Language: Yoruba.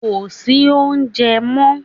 Kò sí oúnjẹ mọ́